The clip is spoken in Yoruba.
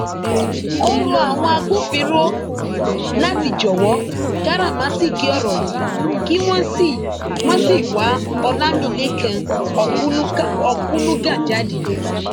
ó rọ àwọn agbófinró láti jọwọ káràmáásìkí ọrọ yìí kí wọn sì wọn sì wa ọlámilẹkan òkunuga jáde